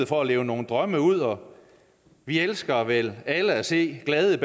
for at leve nogle drømme ud og vi elsker vel alle at se glade